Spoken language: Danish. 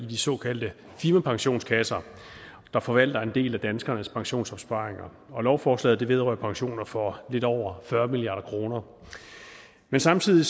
de såkaldte firmapensionskasser der forvalter en del af danskernes pensionsopsparinger og lovforslaget vedrører pensioner for lidt over fyrre milliard kroner men samtidig